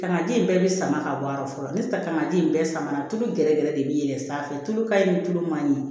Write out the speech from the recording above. Ka na ji in bɛɛ bɛ sama ka bɔ a yɔrɔ fɔlɔ ne ta ka ji in bɛɛ sama tulu gɛrɛgɛrɛ de bɛ yɛlɛn sanfɛ tulu ka ɲi ni tulu ma ɲi